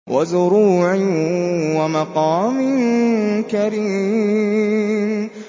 وَزُرُوعٍ وَمَقَامٍ كَرِيمٍ